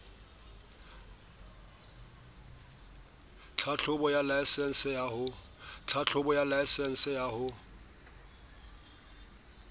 tlhahlobo ya laesense ya ho